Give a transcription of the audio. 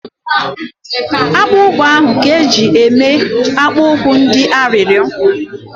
Akpụkpọ anụ ka eji eme akpụ ụkwụ ndị arịrịo